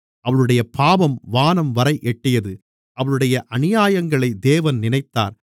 அவளுடைய பாவம் வானம்வரை எட்டியது அவளுடைய அநியாயங்களை தேவன் நினைத்தார்